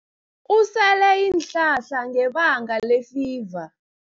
Usele iinhlahla ngebanga lefiva.